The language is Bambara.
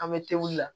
An bɛ te wuli